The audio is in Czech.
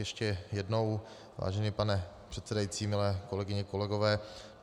Ještě jednou, vážený pane předsedající, milé kolegyně, kolegové.